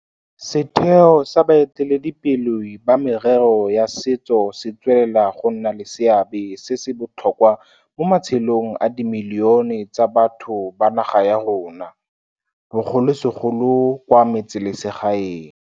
Setheo sa baeteledipele ba merero ya setso se tswelela go nna le seabe se se botlhokwa mo matshelong a dimilione tsa batho ba naga ya rona, bogolosegolo kwa metseselegaeng.